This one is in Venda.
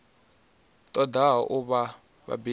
ṱo ḓaho u vha vhabebi